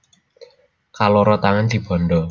Kaloro tangan dibanda